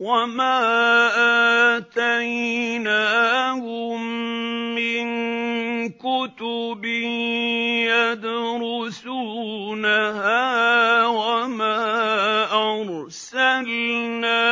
وَمَا آتَيْنَاهُم مِّن كُتُبٍ يَدْرُسُونَهَا ۖ وَمَا أَرْسَلْنَا